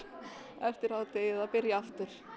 eftir hádegið að byrja aftur